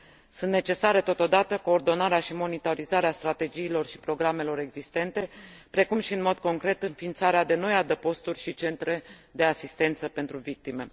Sunt necesare, totodată, coordonarea și monitorizarea strategiilor și programelor existente, precum și, în mod concret, înființarea de noi adăposturi și centre de asistență pentru victime.